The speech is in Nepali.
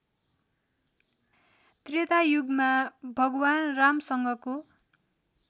त्रेतायुगमा भगवान रामसँगको